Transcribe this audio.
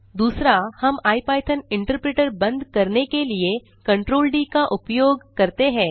दूसरा हम IPython interpreter बंद करने के लिए Ctrl डी का उपयोग करते हैं